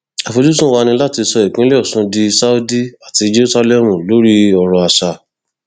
àfojúsùn wa ni láti sọ ìpínlẹ ọṣun di saudi àti jerusalem lórí ọrọ àṣà